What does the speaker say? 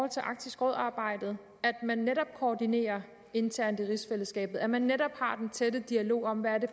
til arktisk råd arbejdet at man netop koordinerer internt i rigsfællesskabet at man netop har den tætte dialog om hvad det